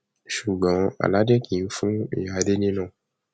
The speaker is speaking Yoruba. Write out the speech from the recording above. ṣùgbọn aláàjì kì í fún ìyá délé náà